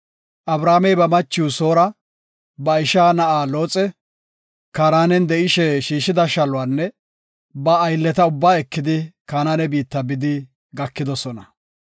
Abramey ba machiw Soora, ba isha na7a Looxe, Kaaranen de7ishe shiishida shaluwanne ba aylleta ubba ekidi Kanaane biitta bidi gakidosona.